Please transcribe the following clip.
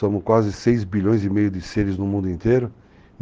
Somos quase 6 bilhões e meio de seres no mundo inteiro.